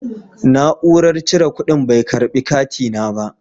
Na'urar cire kuɗin bai karɓi katina ba.